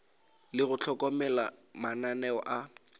le go hlokomela mananeo a